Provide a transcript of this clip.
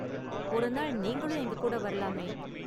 ஒருநாள் நீங்களும் எங்ககூட வரலாமே?